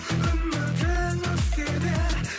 үмітің өшсе де